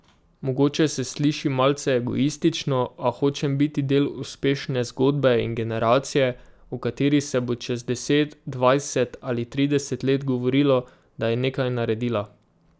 Mogoče se sliši malce egoistično, a hočem biti del uspešne zgodbe in generacije, o kateri se bo čez deset, dvajset ali trideset let govorilo, da je nekaj naredila.